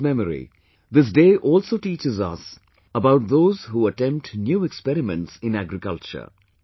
In his memory, this day also teaches us about those who attempt new experiments in agriculture